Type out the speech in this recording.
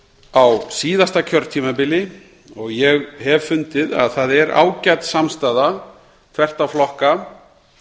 á síðasta kjörtímabili og ég hef fundið að það er ágæt samstaða þvert á flokka